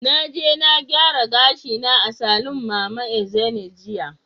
Na je na gyara gashina a saloon mama Ezine jiya.